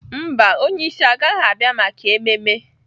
Mba, onye isi agaghị abịa maka ememme.